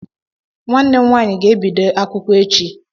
Nwanne m nwaanyị ga-ebido akwụkwọ echi